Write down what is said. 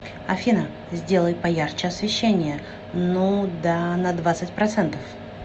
афина сделай поярче освещение ну да на двадцать процентов